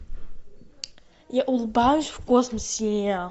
я улыбаюсь в космосе